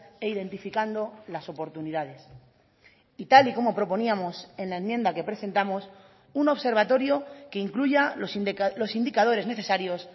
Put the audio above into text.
e identificando las oportunidades y tal y como proponíamos en la enmienda que presentamos un observatorio que incluya los indicadores necesarios